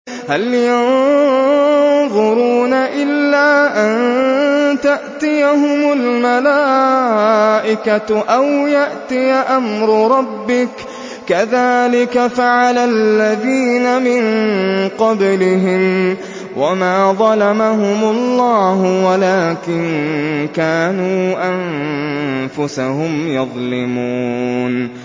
هَلْ يَنظُرُونَ إِلَّا أَن تَأْتِيَهُمُ الْمَلَائِكَةُ أَوْ يَأْتِيَ أَمْرُ رَبِّكَ ۚ كَذَٰلِكَ فَعَلَ الَّذِينَ مِن قَبْلِهِمْ ۚ وَمَا ظَلَمَهُمُ اللَّهُ وَلَٰكِن كَانُوا أَنفُسَهُمْ يَظْلِمُونَ